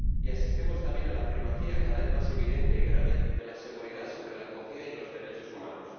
Y asistimos también a la primacía cada vez más evidente y grave de la seguridad sobre la acogida y los derechos humanos.